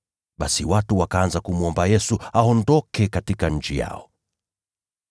Basi watu wakaanza kumwomba Yesu aondoke katika nchi yao.